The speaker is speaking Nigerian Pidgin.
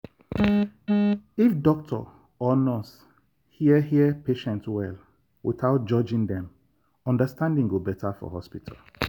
if doctor or nurse hear hear patient well without judging dem understanding go better for hospital.